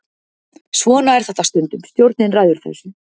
Svona er þetta stundum, stjórnin ræður þessu.